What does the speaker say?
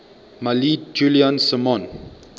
mailed julian simon